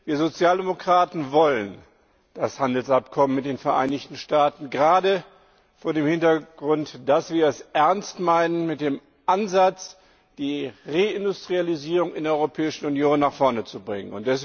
Die Sozialdemokraten wollen das Handelsabkommen mit den Vereinigten Staaten gerade vor dem Hintergrund, dass wir es ernst meinen mit dem Ansatz, die Reindustrialisierung in der Europäischen Union nach vorne zu bringen.